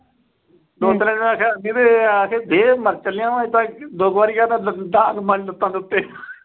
ਨੇ ਆਖਿਆ, ਅਖੇ ਦੇ ਮਰ ਚਲਿਆ ਮੈਂ ਤਾਂ। ਦੋ ਕੁ ਵਾਰ ਕਹਿ ਤਾਂ ਡਾਂਗ ਮਾਰੀ ਲੱਤਾਂ ਦੇ ਉੱਤੇ।